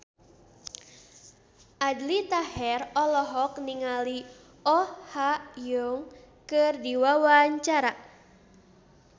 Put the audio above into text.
Aldi Taher olohok ningali Oh Ha Young keur diwawancara